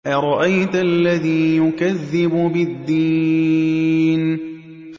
أَرَأَيْتَ الَّذِي يُكَذِّبُ بِالدِّينِ